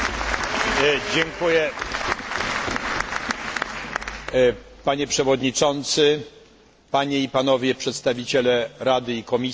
Panie przewodniczący, panie i panowie przedstawiciele Rady i Komisji, szanowne koleżanki i koledzy!